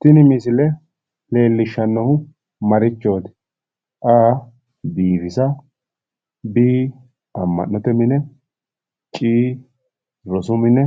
Tini misile lellishshannohu marichooti? A. biifisa B. amma'note mine C. rosu mine